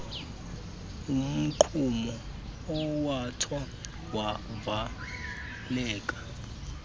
umgqumo owatsho wavaleka